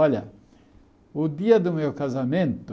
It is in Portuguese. Olha, o dia do meu casamento...